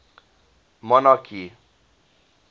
monarchy